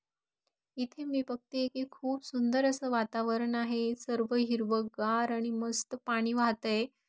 इथे मी बघतेय कि खूप सुंदर अस वातावरण आहे सर्व हिरवागार आणि मस्त पाणी वाहतय.